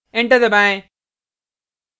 enter दबाएँ